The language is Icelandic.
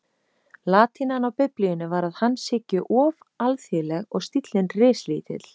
Latínan á Biblíunni var að hans hyggju of alþýðleg og stíllinn rislítill.